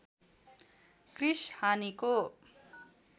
Chris हानिको